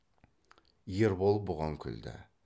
ербол бұған күлді